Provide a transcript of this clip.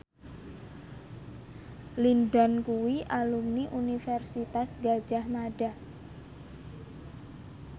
Lin Dan kuwi alumni Universitas Gadjah Mada